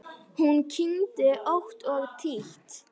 Hún kyngdi ótt og títt.